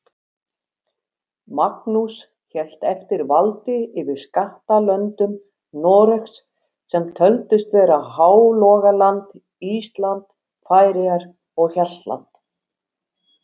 Magnús hélt eftir valdi yfir skattlöndum Noregs, sem töldust vera Hálogaland, Ísland, Færeyjar og Hjaltland.